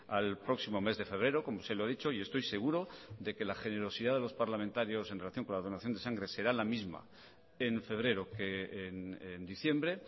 al próximo mes de febrero como se lo he dicho y estoy seguro de que la generosidad de los parlamentarios en relación con la donación de sangre será la misma en febrero que en diciembre